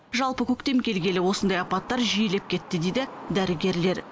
жалпы көктем келгелі осындай апаттар жиілеп кетті дейді дәрігерлер